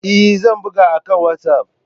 Eh, zan buga akan WhatsApp.